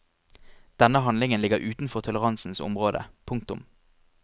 Denne handlingen ligger utenfor toleransens område. punktum